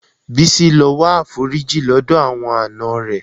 Bísí lọ wá àforíjì lọ́dọ̀ àwọn àna rẹ̀.